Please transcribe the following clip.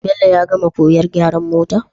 Bello ya gama koyan gyaran motor?